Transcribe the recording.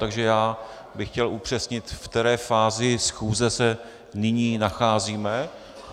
Takže já bych chtěl upřesnit, v které fázi schůze se nyní nacházíme.